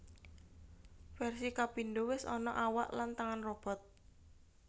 Versi kapindo wis ana awak lan tangan robot